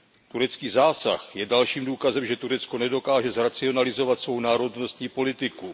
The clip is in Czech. Turecký zásah je dalším důkazem, že Turecko nedokáže zracionalizovat svou národnostní politiku.